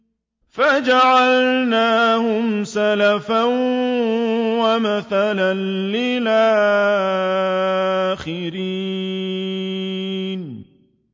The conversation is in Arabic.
فَجَعَلْنَاهُمْ سَلَفًا وَمَثَلًا لِّلْآخِرِينَ